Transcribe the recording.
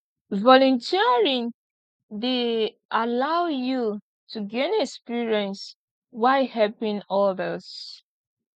volunteering dey allow yu to gain experience while helping odas